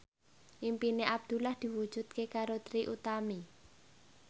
impine Abdullah diwujudke karo Trie Utami